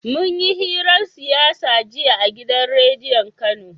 munyi hirar siyasa jiya a gidan rediyon kano